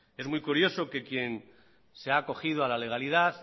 es muy curioso que quien se haya acogido a la legalidad